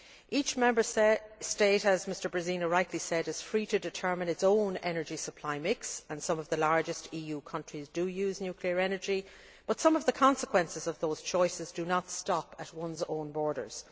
Each Member State, as Mr Březina rightly said, is free to determine its own energy supply mix, and some of the largest EU countries do use nuclear energy, but some of the consequences of those choices do not stop at one's own borders.